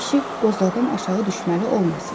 qoca kişi qozladan aşağı düşməli olmasın.